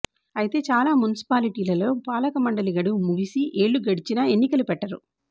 అయితే చాలా మున్సిపాలిటిలలో పాలక మండలి గడువు ముగిసి ఏళ్లు గడిచినా ఎన్నికలు పెట్టరు